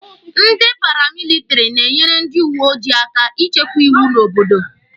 Ndị paramilitiri na-enyere ndị uweojii aka ichekwa iwu n'obodo.